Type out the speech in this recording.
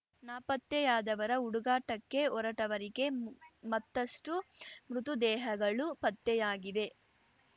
ನಾಪತ್ತೆಯಾದವರ ಹುಡುಗಾಟಕ್ಕೆ ಹೊರಟವರಿಗೆ ಮತ್ತಷ್ಟುಮೃತುದೇಹಗಳು ಪತ್ತೆಯಾಗಿವೆ